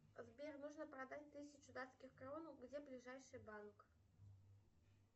сбер нужно продать тысячу датских крон где ближайший банк